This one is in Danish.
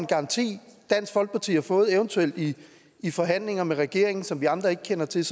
garanti dansk folkeparti har fået eventuelt i i forhandlinger med regeringen som vi andre ikke kender til